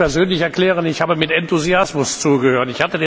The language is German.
Ich kann für mich persönlich erklären Ich habe mit Enthusiasmus zugehört.